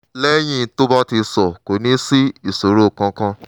lẹ́yìn tó bá ti só kò ní sí ìṣòro kankan